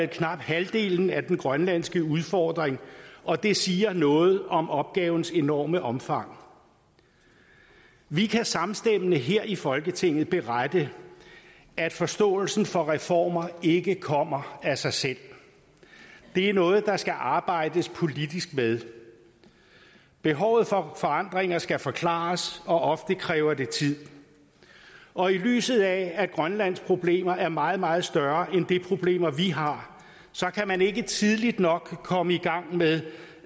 knap halvdelen af den grønlandske udfordring og det siger noget om opgavens enorme omfang vi kan samstemmende her i folketinget berette at forståelsen for reformer ikke kommer af sig selv det er noget der skal arbejdes politisk med behovet for forandringer skal forklares og ofte kræver det tid og i lyset af at grønlands problemer er meget meget større end de problemer vi har så kan man ikke tidligt nok komme i gang med